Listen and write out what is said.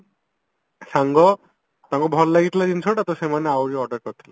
ସାଙ୍ଗ ତାଙ୍କୁ ଭଲ ଲାଗିଥିଲା ଜିନିଷଟା ତ ସେମାନେ ଆହୁରି order କରିଥିଲେ